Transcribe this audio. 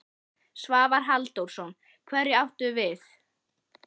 Svavar Halldórsson: Hverja áttu við?